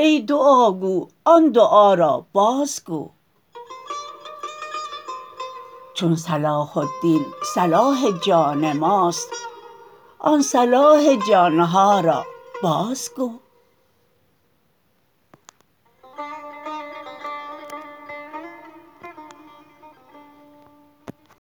ای دعاگو آن دعا را بازگو چون صلاح الدین صلاح جان ماست آن صلاح جان ها را بازگو